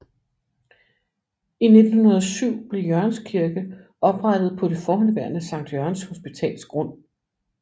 I 1907 blev Jørgenskirke oprettet på det forhenværende Sankt Jørgens Hospitals grund